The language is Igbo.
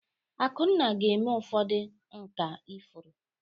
Akunna ga-eme ụfọdụ nkà ifuru.